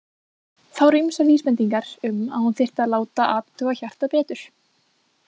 Það voru ýmsar vísbendingar um að hún þyrfti að láta athuga hjartað betur.